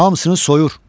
Hamsını soyur.